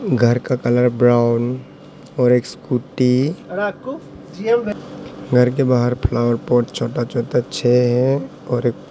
घर का colour brown और एक स्कूटी घर के बाहर फ्लावर पाट छोटा छोटा छे हैं और एक --